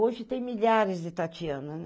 Hoje tem milhares de Tatiana, né?